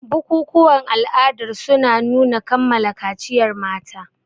Bukukuwan ala'adar suna nuna kammala kaciyar mata.